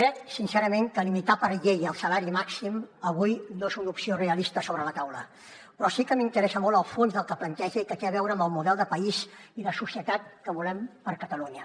crec sincerament que limitar per llei el salari màxim avui no és una opció realista sobre la taula però sí que m’interessa molt el fons del que planteja i que té a veure amb el model de país i de societat que volem per a catalunya